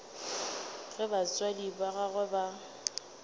ge batswadi ba gagwe ba